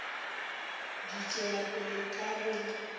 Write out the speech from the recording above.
di tšwela pele ka go